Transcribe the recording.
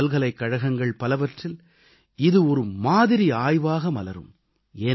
உலகப் பல்கலைக்கழகங்கள் பலவற்றில் இது ஒரு மாதிரி ஆய்வாக மலரும்